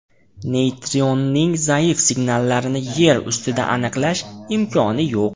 Neytrinoning zaif signallarini yer ustida aniqlash imkoni yo‘q.